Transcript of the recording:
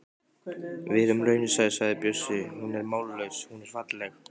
Verum raunsæ, sagði Bjössi, hún er mállaus, hún er falleg.